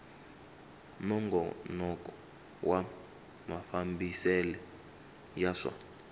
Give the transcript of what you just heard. nongonoko wa mafambisele ya swa